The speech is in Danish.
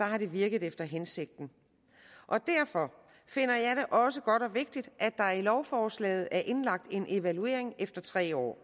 har virket efter hensigten og derfor finder jeg det også godt og vigtigt at der i lovforslaget er indlagt en evaluering efter tre år